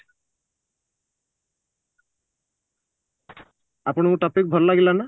ଆପଣଙ୍କୁ topic ଭଲ ଲାଗିଲା ନା?